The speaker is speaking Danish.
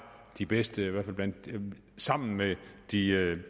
de bedste sammen med de